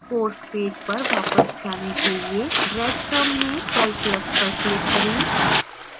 course page पर वापस जाने के लिए breadcrumb में calculus पर click करें